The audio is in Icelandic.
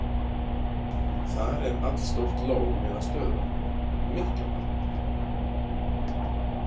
Þar er allstórt lón eða stöðuvatn, Miklavatn.